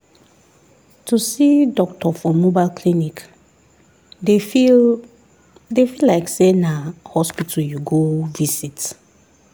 to see doctor for mobile clinic dey feel dey feel like say na hospital you go visit.